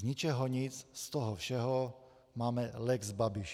Z ničeho nic z toho všeho máme lex Babiš.